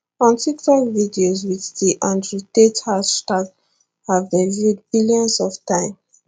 on tiktok videos with the andrewtate hashtag have been viewed billions of times